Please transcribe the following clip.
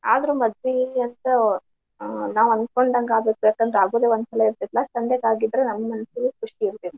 ಅದ್ರ್ ಮದ್ವಿ ದಿವಸ ನಾವು ಅನ್ಕೊಂಡಂಗ್ ಆಗಿದ್ದೆ ಆಗುದೆ ಒಂದು ಸಲ ಇರ್ತೇತ್ಲಾ ಸಂಜೆಗ್ ಆಗಿದ್ರ್ ನಮ್ ಮನಸ್ಗ್ ಖುಷಿ ಇರ್ತಿತ್ತ.